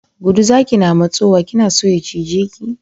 Gudu zaki na matsowa, kina so ya cije ki?